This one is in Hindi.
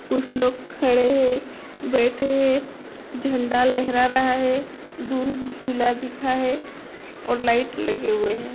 कुछ लोग खड़े है बैठे हैं झंडा लहरा रहा है दूर झूला दिखा है और लाइट लगी है।